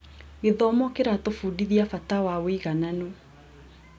Gĩthomo kĩratũbundithia bata wa ũigananu.